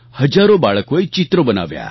હજારો બાળકોએ ચિત્રો બનાવ્યા